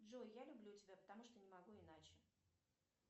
джой я люблю тебя потому что не могу иначе